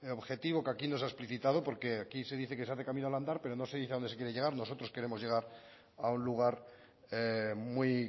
objetivo que aquí nos ha explicitado porque aquí se dice que se hace camino al andar pero no se dice a dónde se quiere llegar nosotros queremos llegar a un lugar muy